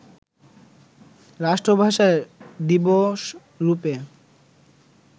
রাষ্ট্রভাষা দিবসরুপে